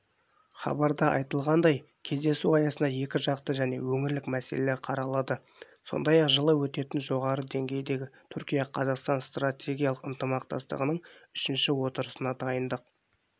хабарда айтылғандай кездесу аясында екіжақты және өңірлік мәселелер қаралады сондай-ақ жылы өтетін жоғарғы деңгейдегі түркия-қазақстан стратегиялық ынтымақтастығының үшінші отырысына дайындық